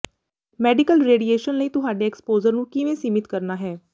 medical radiation ਲਈ ਤੁਹਾਡੇ exposure ਨੂੰ ਕਿਵੇਂ ਸੀਮਿਤ ਕਰਨਾ ਹੈ